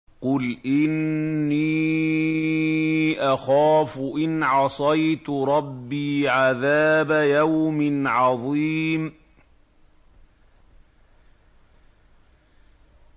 قُلْ إِنِّي أَخَافُ إِنْ عَصَيْتُ رَبِّي عَذَابَ يَوْمٍ عَظِيمٍ